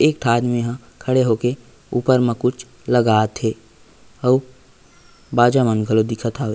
एक थ आदमी हा खड़े होक ऊपर म कुछ लगात हे अउ बजा मन घलो दिखत हाव--